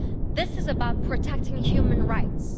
This is about protecting human rights.